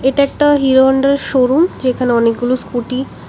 একটা Hero Honda এর showroom যেখানে অনেকগুলো স্কুটি --